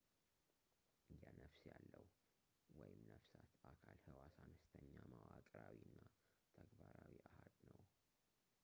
የነፍስ ያለው ነፍሳት አካል ሕዋስ አነስተኛው መዋቅራዊ እና ተግባራዊ አሃድ ነው